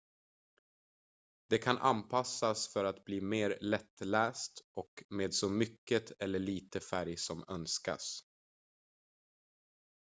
den kan anpassas för att bli mer lättläst och med så mycket eller lite färg som önskas